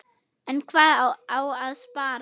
En hvað á að sparast?